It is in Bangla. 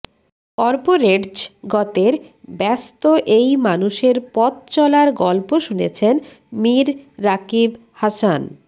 করপোরেটজগতের ব্যস্ত এই মানুষের পথচলার গল্প শুনেছেন মীর রাকিব হাসান